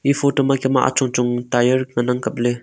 photo ma kam achong chong ngan ang kap ley.